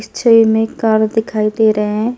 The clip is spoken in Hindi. इस छवि में कार दिखाई दे रहे हैं।